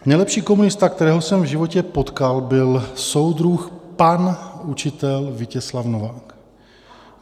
Nejlepší komunista, kterého jsem v životě potkal, byl soudruh pan učitel Vítězslav Novák.